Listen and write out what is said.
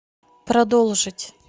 продолжить